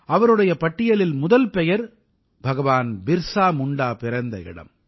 அவருடைய பட்டியலில் முதல் பெயர் பகவான் பிர்ஸா முண்டா பிறந்த இடம்